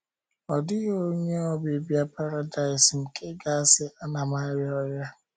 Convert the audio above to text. Ọ dịghị onye obibi Paradaịs nke ga - asị, “ Ana m arịa ọrịa. ”